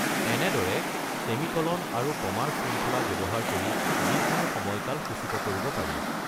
এনেদৰে ছেমিকলন আৰু কমাৰ শৃংখলা ব্যৱহাৰ কৰি যিকোনো সময়কাল সূচিত কৰিব পাৰি।